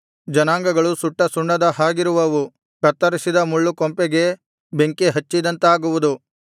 ಜನಾಂಗಗಳು ಸುಟ್ಟ ಸುಣ್ಣದ ಹಾಗಿರುವವು ಕತ್ತರಿಸಿದ ಮುಳ್ಳುಕೊಂಪೆಗೆ ಬೆಂಕಿಹಚ್ಚಿದಂತಾಗುವುದು